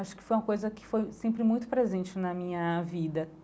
Acho que foi uma coisa que foi sempre muito presente na minha vida.